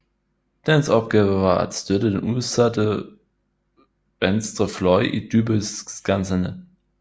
Dens opgave var at støtte den udsatte venstre fløj i Dybbølskanserne